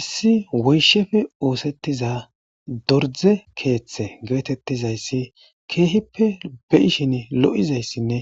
Issi wooyishshappe oosetiza doorzze keeththe geetettizaysi keehippe beishin loo'oizaysanne